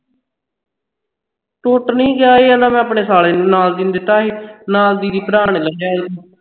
ਟੁੱਟ ਨਹੀਂ ਗਿਆ ਇਹ ਆਦਾ ਮੈਂ ਆਪਣੇ ਸਾਲੇ ਦੀ ਨਾਲ ਦੀ ਨੂੰ ਦਿੱਤਾ ਸੀ ਨਾਲ ਦੀ ਦੇ ਭਰਾ ਨੇ ਲੱਭਿਆ ਸੀ